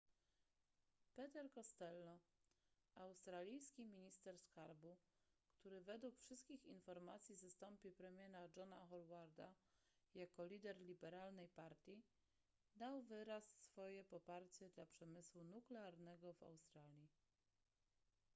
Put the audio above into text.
peter costello australijski minister skarbu który według wszystkich informacji zastąpi premiera johna howarda jako lider liberalnej partii dał wyraz swoje poparcie dla przemysłu nuklearnego w australii